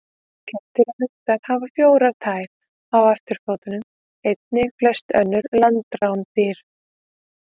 Kettir og hundar hafa fjórar tær á afturfótum, einnig flest önnur landrándýr.